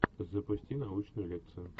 запусти научную лекцию